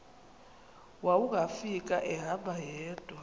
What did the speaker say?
wawungafika ehamba yedwa